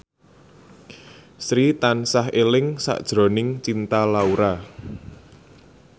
Sri tansah eling sakjroning Cinta Laura